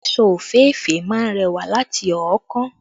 Aṣọ òféèfé má ń rẹwà láti ọ̀ọ́kán